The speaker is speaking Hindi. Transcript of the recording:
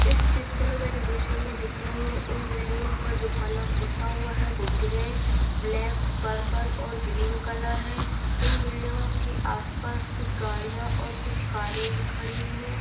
इस चित्र में जो बिल्डिंग दिख रही है इस बिल्डिंगो पर जो कलर पोता हुआ है वो ग्रे ब्लैक पर्पल और ग्रीन कलर है इन बिल्डिंगो के आस पास कुछ गाड़ीया और कुछ कारे भी खड़ी हुई है।